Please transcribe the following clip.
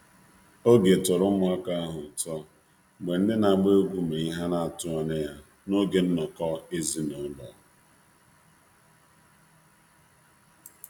Obi tọrọ ụmụaka ahụ ụtọ mgbe ndị mgbe ndị na-agba egwú mere ihe ha na atụghị anya ya n’oge nnọkọ ezinụlọ.